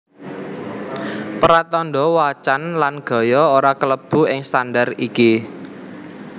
Pratandha wacan lan gaya ora kalebu ing standar iki